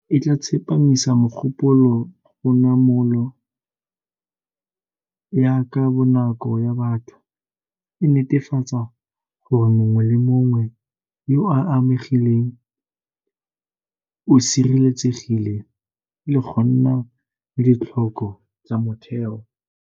E tla tsepamisa mogopolo go namolo ya ka bonako ya batho, e netefatsa gore mongwe le mongwe yo o amegileng o sireletsegile le go nna le ditlhoko tsa motheo.